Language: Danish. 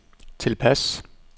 tilpas